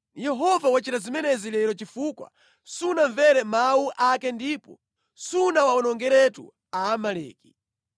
Yehova wachita zimenezi lero chifukwa sunamvere mawu ake ndipo sunawawonongeretu Aamaleki.